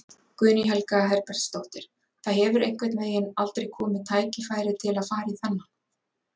Guðný Helga Herbertsdóttir: Það hefur einhvern veginn aldrei komið tækifæri til að fara í þennan?